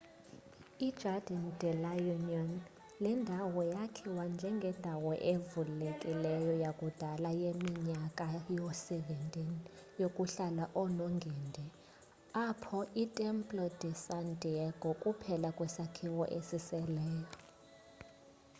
ijardín de la unión. le ndawo yakhiwa njengendawo evulekileyo yakudal yeminyaka yoo-17 yokuhlala oneengendi apho itemplo de san diego kuphela kwesakhiwo esiseleyo